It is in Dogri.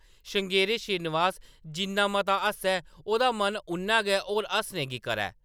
" श्रृंगेरी श्रीनिवास जिन्ना मता हस्सै, ओह्‌दा मन उन्ना गै होर हस्सने गी करै ।